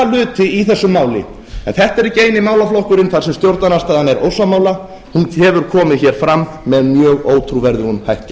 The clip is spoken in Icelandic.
hluti í þessu máli en þetta er ekki eini málaflokkurinn þar sem stjórnarandstaðan er ósammála hún hefur komið hér fram með mjög ótrúverðugum hætti